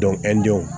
denw